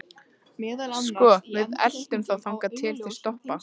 Sko. við eltum þá þangað til þeir stoppa.